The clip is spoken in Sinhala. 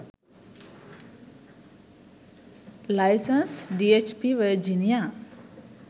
license dhp virginia